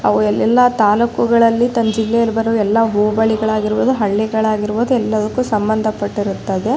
ಅವು ಎಲ್ಲೆಲ್ಲ ತಲುಕ್ಗಳಲ್ಲಿ ತಮ್ಮ ಜಿಲ್ಲೆಯಲ್ಲಿ ಬರುವ ಎಲ್ಲ ಹೋಬಳಿ ಗಳಾಗಿರಬಹುದು ಹಳ್ಳಿಗಳಾಗಿರಬಹುದು ಎಲ್ಲದಕ್ಕೂ ಸಂಬಂಧ ಪಟ್ಟಿರುತ್ತದೆ.